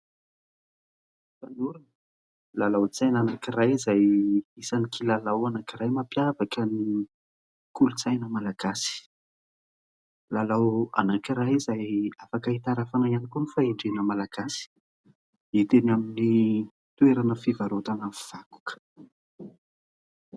Fanorona : lalaon-tsaina anankiray izay isan'ny kilalao anankiray mampiavaka ny kolontsaina malagasy ; lalao anankiray izay afaka hitarafana ihany koa ny fahendren'ny Malagasy. Hita eny amin'ny toerana fivarotana vakoka.